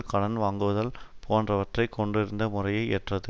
கடன் வாங்குவதல் போன்றவற்றை கொண்டிருந்த முறையை ஏற்றது